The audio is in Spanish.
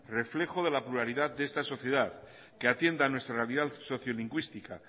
reflejo de la pluralidad de esta sociedad que atienda nuestra realidad sociolingüística